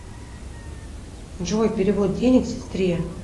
джой перевод денег сестре